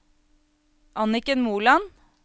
Anniken Moland